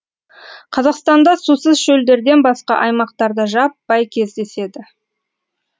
қазақстанда сусыз шөлдерден басқа аймақтарда жаппай кездеседі